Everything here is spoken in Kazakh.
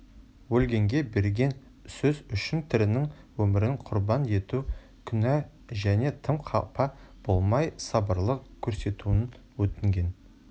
өлгенге берген сөз үшін тірінің өмірін құрбан ету күнә және тым қапа болмай сабырлылық көрсетуін өтінген